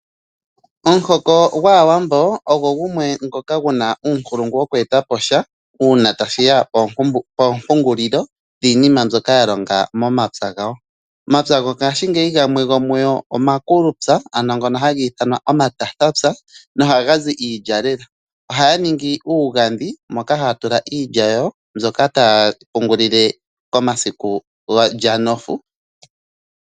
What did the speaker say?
Omuhoko gwAawambo ogo gumwe ngoka gu na uunkulungu woku eta po sha, uuna tashi ya poompungulilo dhiinima mbyoka ya longa momapya gawo. Omapya gongaashingeyi gamwe omakulupya ngono haga ithanwa omathatapya nohaga zi iilya lela. Ohaya ningi iigandhi moka haya tula iilya yawo mbyoka taya pungulile konofu.